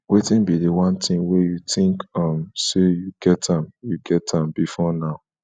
wetin be di one thing wey you think um say you get am you get am before now